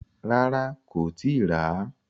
Rárá, kò tíì ràá.